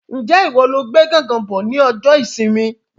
Njẹ ìwo lo gbé gángan bọ ní ọjọ ìsinmi?